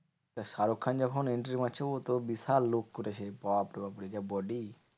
শাহরুখ খান যখন entry মারছে ও তো বিশাল look করেছে। বাপরে বাপরে যা body?